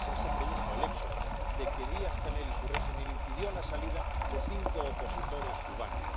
Y así se produjo el hecho de que Díaz Canel y su régimen impidieron la salida de cinco opositores cubanos.